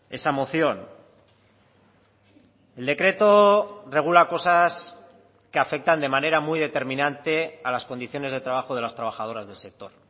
esa moción el decreto regula cosas que afectan de manera muy determinante a las condiciones de trabajo de las trabajadoras del sector